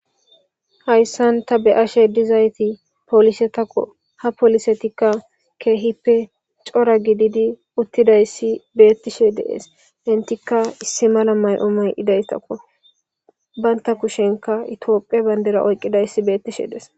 hayssan ta beyashe dizayti polise tako ha polisetikka keehippe cora gididi uttidayssi beettishe dees intika issi mala may7o may idaystakko baynta kushenka itophe bayndera oyqqidayssi beettishe des